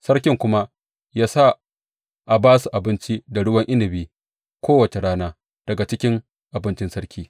Sarki kuma ya sa a ba su abinci da ruwan inabi kowace rana daga cikin abincin sarki.